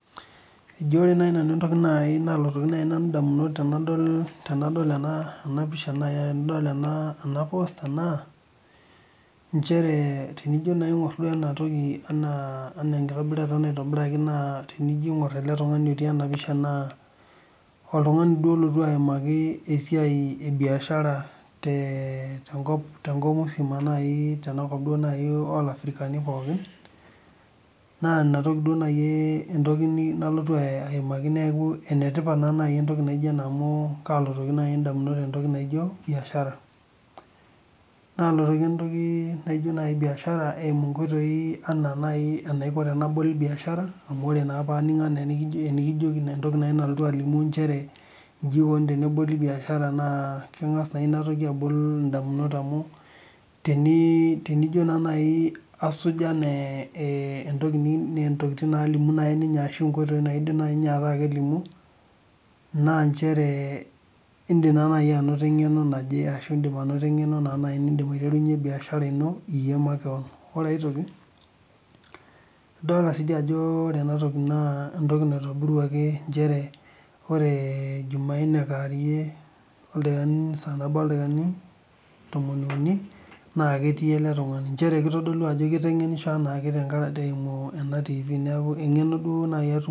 Eji ore naa entoki nai naloto nanu indamunot tenadol ena pisha nai enidol ena posta naa inchere tenijo naa aing'or enatoki enaa enkitobirata naitobir tenijo aing'or ale tungani otii ena pisha naa oltungani duo olotu aimaki esiai ebiashara tenkop musima naii olafirikani pooki, naa inatoki dei naii entoki nalotu aimaki neaku enetipat nai entoki naijo ina amuu kaloto nai indamunot ore entoki naijo mbiashara. Nalotu ake entoki naijo nai mbiashara eimu inkoitoi anaa nai ore enabol imbiashara amu ore naa paaning' enikijoki naa entoki nalimu inchere enji eikoni teneboli imbiashara naa kengas naa inatoki abol indamunot amuu tenijo naa nai asuj anaa enatoki nalimu naa ninye ashu inkoitoi naidim nai alimu, naa inchere indim nai anoto eng'eno naji ashu eng'eno niindim nai intarunye imbiashara ino makeon. Ore aitoki idol sii ajo ore enatoki naa entoki naitobiruaki inchere oree ijumaine kewairie oldakikani tomon ouni, naa ketii ale tungani inchere keitodolu ajo keiteng'enisho ale tungani naa tengaraki eimu etiivi, naaku eng'eno duo eimu nai.